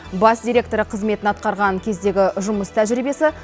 бас директоры қызметін атқарған кездегі жұмыс тәжірибесі